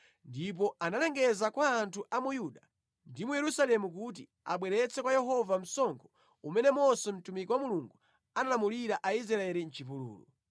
Ndipo analengeza kwa anthu a mu Yuda ndi mu Yerusalemu kuti abweretse kwa Yehova msonkho umene Mose mtumiki wa Mulungu analamulira Aisraeli mʼchipululu.